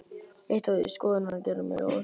Eitt var víst: Skoðanir hennar gerðu mig ráðvillta.